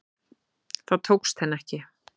Það tókst henni ekki